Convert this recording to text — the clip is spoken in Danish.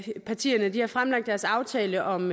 eu partierne fremlagde deres aftale om